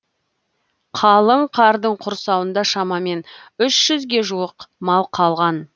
қалың қардың құрсауында шамамен үш жүзге жуық мал қалған